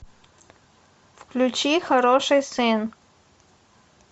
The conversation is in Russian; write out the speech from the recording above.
включи хороший сын